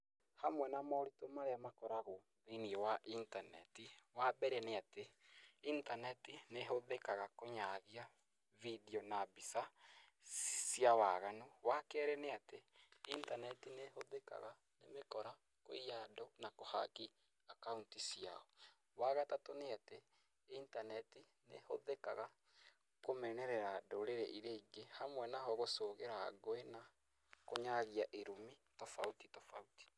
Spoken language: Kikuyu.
Hamwe na moritũ marĩa makoragwo thĩinĩ wa intaneti wambere nĩ atĩ, intaneti nĩhũthĩkaga kũyagia vindio na mbica na mbica cia waganu. Wakerĩ nĩ atĩ intaneti nĩhũthĩkaga nĩ mĩkora kũiya andũ na kũhaki akaũnti ciao. Wagatatũ nĩ atĩ intaneti nĩhũthĩkaga kũmenerera ndũrĩrĩ iria ingĩ hamwe nao gũcogera ngũi na kũnyagia irumi tofauti tofauti.